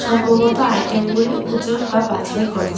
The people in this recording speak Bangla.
সম্ভবত আইটেমগুলি উজন বা বাছাই করছে।